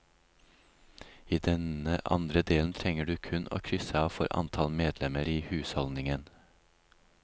I denne andre delen trenger du kun å krysse av for antall medlemmer i husholdningen.